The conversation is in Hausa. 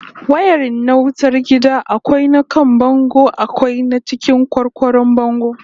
Wayarin na wutar gida akwai na kan bango akwai na cikin kwarkwaron bango